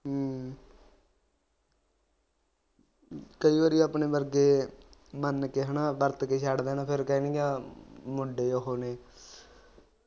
ਕਈ ਵਾਰੀ ਆਪਣੇ ਵਰਗੇ ਮਨ ਕ ਹਨਾ ਵਰਤ ਕ ਛੱਡ ਦੇਣ ਫਿਰ ਕਹਿਣ ਗਈਆਂ ਆ ਮੁੰਡੇ ਉਹ ਨੇ